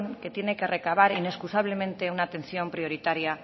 que tiene que recabar inexcusablemente una atención prioritaria